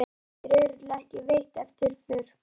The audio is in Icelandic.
Var þér örugglega ekki veitt eftirför?